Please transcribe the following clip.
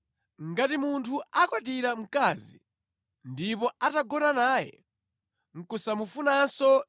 Ngati munthu akwatira mkazi, ndipo atagona naye nʼkusamufunanso